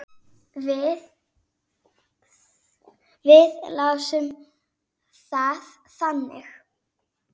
Við lásum það þannig.